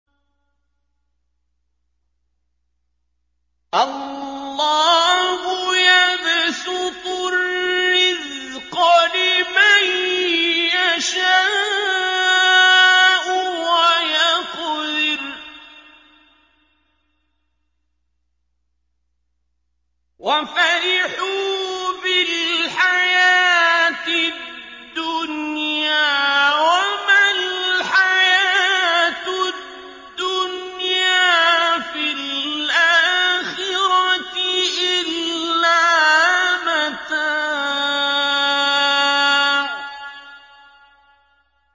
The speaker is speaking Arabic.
اللَّهُ يَبْسُطُ الرِّزْقَ لِمَن يَشَاءُ وَيَقْدِرُ ۚ وَفَرِحُوا بِالْحَيَاةِ الدُّنْيَا وَمَا الْحَيَاةُ الدُّنْيَا فِي الْآخِرَةِ إِلَّا مَتَاعٌ